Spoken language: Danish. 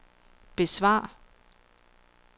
besvar